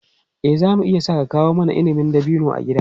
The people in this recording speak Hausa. Eh, za mu iya sa a kawo mana inabin dabino a gida.